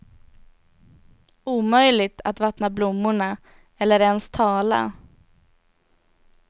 Omöjligt att vattna blommorna eller ens tala.